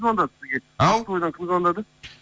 звондады сізге ау ақтоғайдан кім звондады